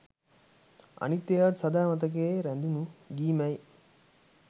අනිත් ඒවත් සදා මතකයේ රැඳුන ගී මැයි